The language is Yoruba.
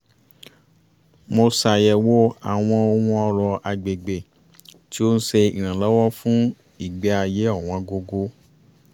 mo ṣàyẹ̀wò àwọn ohun ọrọ̀ agbègbè tí ó ń ṣe ìrànlọ́wọ́ fún ìgbé-ayé ọ̀wọ́ǹgógó